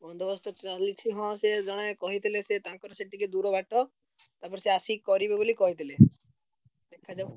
ବନ୍ଦୋବସ୍ତ ଚାଲିଚି ହଁ ସିଏ ଜଣେ କହିଥିଲେ ସିଏ ତାଙ୍କର ସେଠି ଟିକେ ଦୂର ବାଟ, ତାପରେ ସିଏ ଆସିକି କରିବେ ବୋଲି କହିଥିଲେ। hello ।